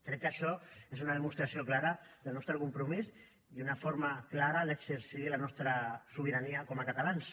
crec que això és una demostració clara del nostre compromís i una forma clara d’exercir la nostra sobirania com a catalans